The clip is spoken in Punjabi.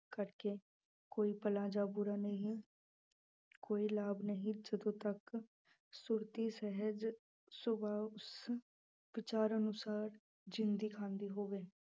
ਕਰਕੇ ਕੋਈ ਭਲਾ ਜਾਂ ਬੁਰਾ ਨਹੀਂ ਕੋਈ ਲਾਭ ਨਹੀਂ ਜਦੋਂ ਤੱਕ ਸੁਰਤੀ ਸਹਿਜ ਸੁਭਾਅ ਉਸ ਵਿਚਾਰ ਅਨੁਸਾਰ ਜ਼ਿੰਦੀ ਖਾਂਦੀ ਹੋਵੇ।